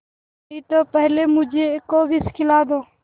नहीं तो पहले मुझी को विष खिला दो